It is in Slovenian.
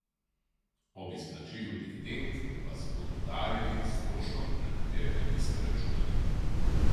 Ob izplačilu dividend vas bodo udaril s stroškom, na katerega niste računali.